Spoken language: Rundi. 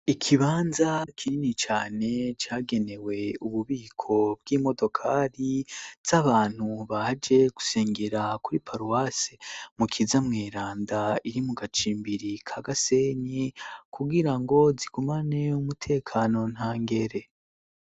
Ikibanza kinini cane cagenewe ububiko bw'imodokari ts'abantu baje gusengera kuri paruwasi mu kiza mu iranda iri mu gacimbiri ka gasenyi kubwira ngo zigumane umutekano nta ngere.